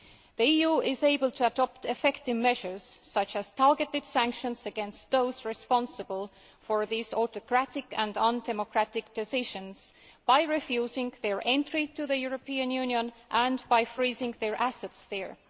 The EU is able to adopt effective measures, such as targeted sanctions against those responsible for these autocratic and undemocratic decisions, by refusing them entry into the European Union and freezing their assets there.